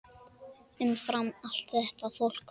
Umfram allt þetta fólk.